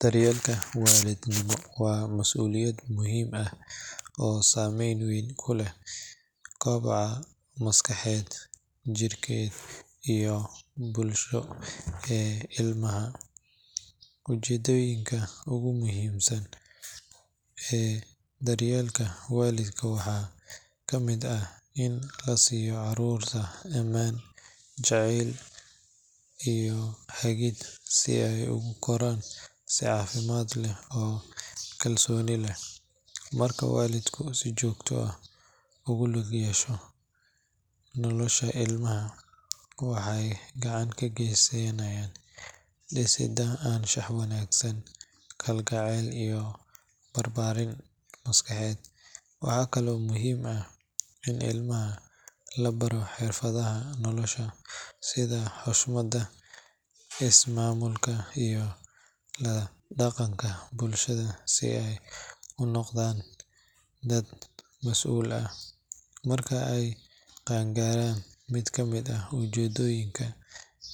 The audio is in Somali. Daryeelka waalidnimo waa mas’uuliyad muhiim ah oo saameyn weyn ku leh kobaca maskaxeed, jidheed iyo bulsho ee ilmaha. Ujeeddooyinka ugu muhiimsan ee daryeelka waalidka waxaa ka mid ah in la siiyo carruurta ammaan, jacayl, iyo hagid si ay ugu koraan si caafimaad leh oo kalsooni leh. Marka waalidku si joogto ah ugu lug yeesho nolosha ilmaha, waxay gacan ka geysanayaan dhisidda anshax wanaag, kalgacal iyo barbaarin maskaxeed. Waxaa kale oo muhiim ah in ilmaha la baro xirfadaha nolosha sida xushmadda, ismaamulka, iyo la dhaqanka bulshada si ay u noqdaan dad mas’uul ah marka ay qaangaaraan. Mid ka mid ah ujeeddooyinka